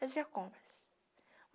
Fazia compras.